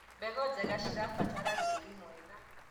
mbegũ njega cnĩirabatara tĩĩri mwega